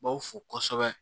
B'aw fo kosɛbɛ